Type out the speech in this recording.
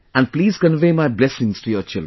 And please convey my blessings to your children